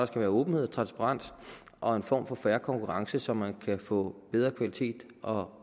skal være åbenhed og transparens og en form for fair konkurrence så man kan få bedre kvalitet og